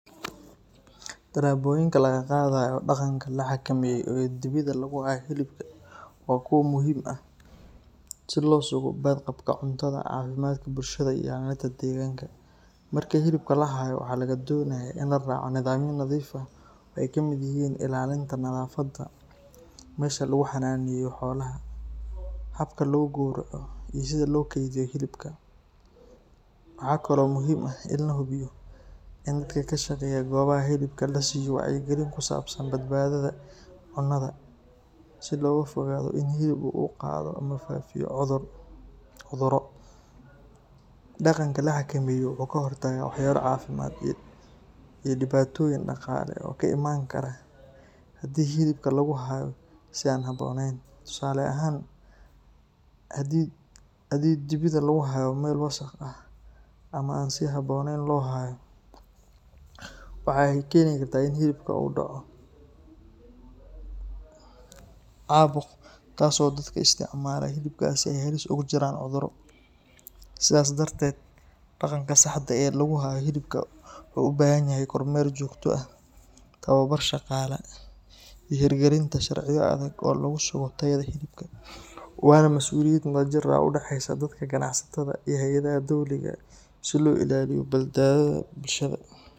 Talaboyinka laga qaadayo dhaqanka la xakameeyo ee dibida lagu hayo hilibka waa kuwo muhiim ah si loo sugo badqabka cuntada, caafimaadka bulshada, iyo ilaalinta deegaanka. Marka hilibka la hayo, waxaa laga doonayaa in la raaco nidaamyo nadiif ah oo ay ka mid yihiin ilaalinta nadaafadda meesha lagu xannaaneeyo xoolaha, habka lagu gowraco, iyo sida loo kaydiyo hilibka. Waxaa kaloo muhiim ah in la hubiyo in dadka ka shaqeeya goobaha hilibka la siiyo wacyigelin ku saabsan badbaadada cunnada, si looga fogaado in hilibka uu qaado ama faafiyo cudurro. Dhaqanka la xakameeyo wuxuu ka hortagaa waxyeello caafimaad iyo dhibaatooyin dhaqaale oo ka iman kara haddii hilibka lagu hayo si aan habboonayn. Tusaale ahaan, haddii dibida lagu hayo meel wasakh ah ama si aan habooneyn loo laayo, waxay keeni kartaa in hilibka uu ku dhaco caabuq, taas oo dadka isticmaala hilibkaasi ay halis ugu jiraan cudurro. Sidaas darteed, dhaqanka saxda ah ee lagu hayo hilibka wuxuu u baahan yahay kormeer joogto ah, tababar shaqaalaha, iyo hirgelinta sharciyo adag oo lagu sugo tayada hilibka. Waana masuuliyad wadajir ah oo u dhaxaysa dadka, ganacsatada, iyo hay’adaha dowliga ah si loo ilaaliyo badbaadada bulshada.